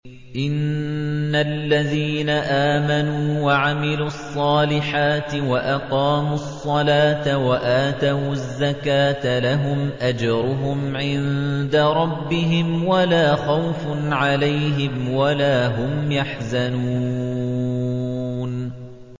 إِنَّ الَّذِينَ آمَنُوا وَعَمِلُوا الصَّالِحَاتِ وَأَقَامُوا الصَّلَاةَ وَآتَوُا الزَّكَاةَ لَهُمْ أَجْرُهُمْ عِندَ رَبِّهِمْ وَلَا خَوْفٌ عَلَيْهِمْ وَلَا هُمْ يَحْزَنُونَ